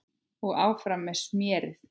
Og áfram með smérið.